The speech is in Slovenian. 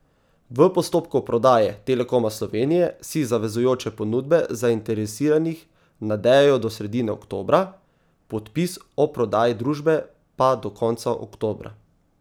V postopku prodaje Telekoma Slovenije si zavezujoče ponudbe zainteresiranih nadejajo do sredine oktobra, podpis o prodaji družbe pa do konca oktobra.